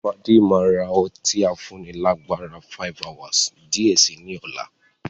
Fade maa ra ọtí afúnni lágbára "5hours" di ẹ síí ni ọ̀la.